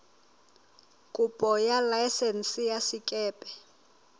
kopo ya laesense ya sekepe